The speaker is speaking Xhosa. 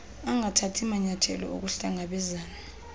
angathathi manyayathelo okuhlangabezana